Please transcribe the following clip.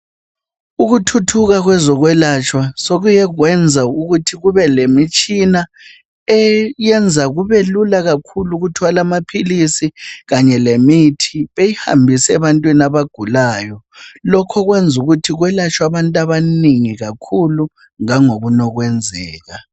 Ukuthuthuka kwezokwelatshwa sokukekwenza ukuthi kube lemitshina eyenza kubelula kakhulu ukuthwala amaphilizi kanye lemithi beyihambisa ebantwini abagulayo lokho okwenza ukuthi kwelatshwe abantu abanengi kakhulu langokunye ukwenzela.